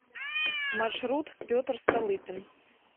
маршрут петр столыпин